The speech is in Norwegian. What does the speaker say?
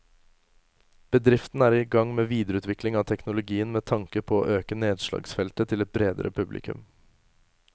Bedriften er i gang med videreutvikling av teknologien med tanke på å øke nedslagsfeltet til et bredere publikum.